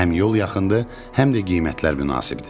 Həm yol yaxındır, həm də qiymətlər münasibdir.